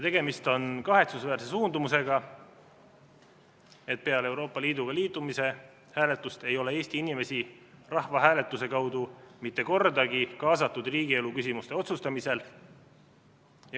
Tegemist on kahetsusväärse suundumusega, peale Euroopa Liiduga liitumise hääletuse ei ole Eesti inimesi rahvahääletuse kaudu mitte kordagi kaasatud riigielu küsimuste otsustamisse.